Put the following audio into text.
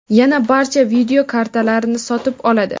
yana barcha video kartalarni sotib oladi.